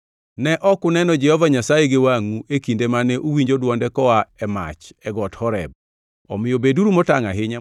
Ne ok uneno Jehova Nyasaye gi wangʼu e kinde mane uwinjo dwonde koa e mach e got Horeb. Omiyo beduru motangʼ ahinya,